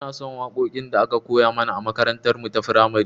Inason waƙoƙin da aka koya mana a makarantar mu ta firamare